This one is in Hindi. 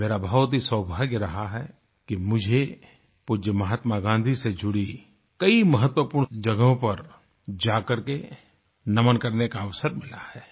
ये मेरा बहुत ही सौभाग्य रहा है कि मुझे पूज्य महात्मा गाँधी से जुड़ी कई महत्वपूर्ण जगहों पर जाकर के नमन करने का अवसर मिला है